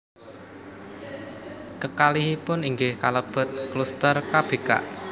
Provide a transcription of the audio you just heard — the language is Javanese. Kekalihipun inggih kalebet kluster kebikak